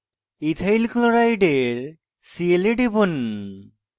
ethyl chloride ethyl chloride এর cl এ টিপুন